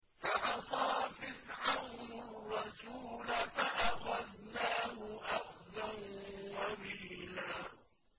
فَعَصَىٰ فِرْعَوْنُ الرَّسُولَ فَأَخَذْنَاهُ أَخْذًا وَبِيلًا